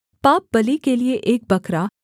पापबलि के लिये एक बकरा